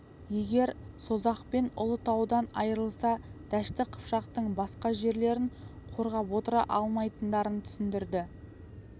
егер созақ пен ұлытаудан айрылса дәшті қыпшақтың басқа жерлерін қорғап отыра алмайтындарын түсіндірді